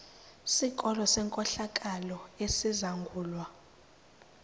sikolo senkohlakalo esizangulwa